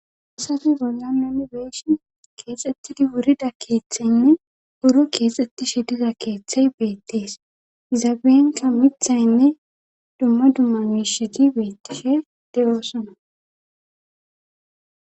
asafi bolla minibeeshin keexxettidi wurida keeththeynne buro keexxettishe diza keeththey beettees izaabeenka mithaynne dumma dumma miishidi beettishe de7oosona